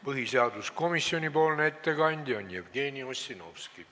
Põhiseaduskomisjoni ettekandja on Jevgeni Ossinovski.